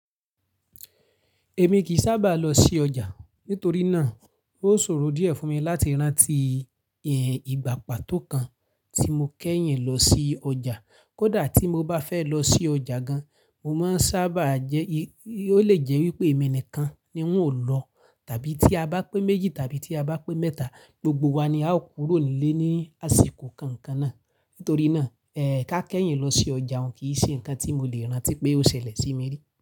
Èmi kì í sábà lọ sí ọjà, nítorí náà ó ṣòro díẹ̀ fún mi láti rántí ìyẹn ìgbà pàtó kan tí mo kẹ́yìn lọ sí ọjà. Kódà tí mo bá fẹ́ lọ sí ọjà gan, mo má ń sábà jẹ́, ó lè jẹ́ wípé èmi nìkan ni wọn ó lọ. Tàbí tí a bá pé méjì tàbí tí a bá pé mẹ́ta, gbogbo wa ni a ó kúrò nílé ní àsìkò kọ̀ọ̀kan náà. Nítorí náà, ẹ ká kẹ́yìn lọ sí ọjà òun kì í ṣe ǹkan tí mo lè rántí pé ó ṣẹlẹ̀ sí mi rí.